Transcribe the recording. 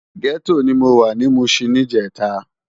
Gètó ni mó wá ni Mushin nijètá